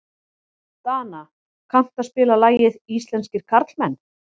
Dana, kanntu að spila lagið „Íslenskir karlmenn“?